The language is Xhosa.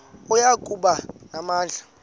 oya kuba namandla